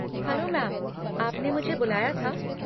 Hello ma'am, आपने मुझे बुलाया था?